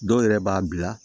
Dɔw yɛrɛ b'a bila